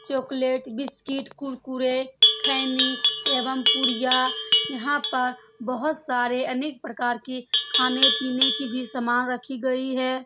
Chocolate biscuit Kurkure खैनी एवं पुड़िया यहाँ पर बहुत सारे अनेक प्रकार के खाने-पीने की भी सामान रखी गयी है।